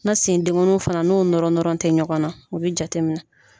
N'a sen denkɔni fana n'o nɔrɔnɔrɔn te ɲɔgɔn na o be jateminɛ